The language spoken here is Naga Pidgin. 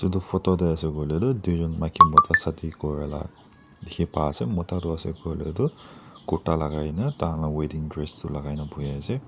etu photo te ase koiley tu duijont maiki Mota shadi Kora laga dekhi pa ase Mota tu ase koile tu kurta lagai kina tar laga wedding dress laga kina bohe ase.